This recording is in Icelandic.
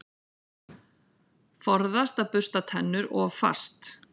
Forðast að bursta tennur of fast.